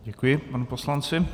Děkuji panu poslanci.